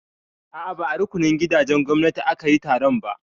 A'a, ba a rukunin gidajen gwamnati aka yi taron ba.